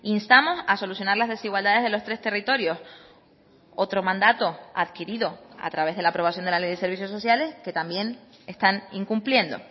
instamos a solucionar las desigualdades de los tres territorios otro mandato adquirido a través de la aprobación de la ley de servicios sociales que también están incumpliendo